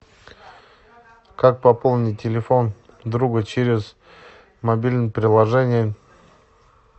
как пополнить телефон друга через мобильное приложение